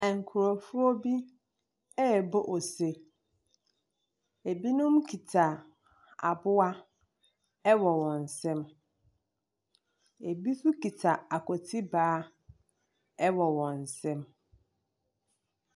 Nkurɔfoɔ bi rebɔ ose. Ebinom kita aboa wɔ wɔn nsam, ebinom nso kita akontibaa wɔ wɔn nsam.